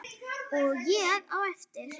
Og ég á eftir.